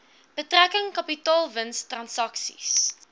betrekking kapitaalwins transaksies